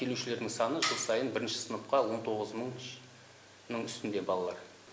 келушілердің саны жыл сайын бірінші сыныпқа он тоғыз мыңның үстінде балалар